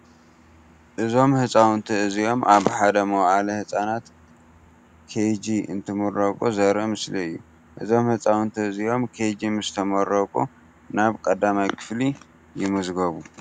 እዞም ህፃውንቲ እዚኦም ኣብ ሓደ መወእለ ህፃናት ከጅ እንትመረቁ ዘርኢ ምስሊ እዩ። እዞም ህፃውንቲ እዚኦም ከጅ ምስ ተመረቁ ናብ 1ይ ክፍሊ ይምዝገቡ።